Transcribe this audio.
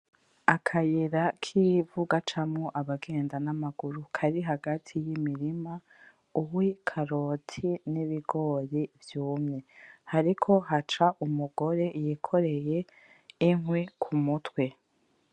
Akayira kivu gacamwo abagenda namaguru kari hagati yimirima ,uwikaroti nibigori vyumye hariko haca umugore yikoreye inkwi kumutwe.